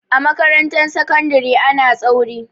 A makarantar sakandari ana tsauri.